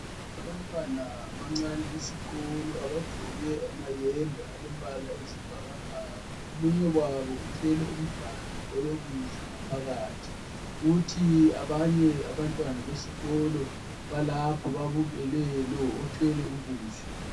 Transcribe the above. abantwana abancane besikolo abagqoke amayembe alombala oyisibhakbhaka omunye wabo uthwele umganu owokudla kuthi abanye abantwana besikolo balapho babukele lo othwele ukudla